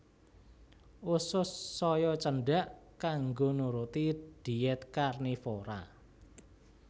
Usus saya cendhak kanggo nuruti dhièt karnivora